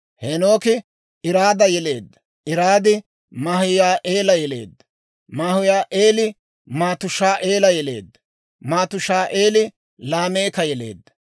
Heenooki Iraada yeleedda; Iraadi Mahuyaa'eela yeleedda; Mahuyaa'eeli Matushaa'eela yeleedda; Matushaa'eeli Laameeka yeleedda.